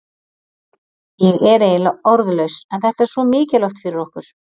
Ég er eiginlega orðlaus en þetta er svo mikilvægt fyrir okkur.